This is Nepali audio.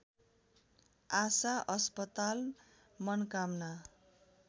आसा अस्पताल मनकामना